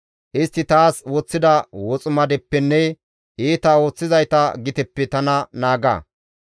Istti taas woththida woximadeppenne iita ooththizayta giteppe tana naaga.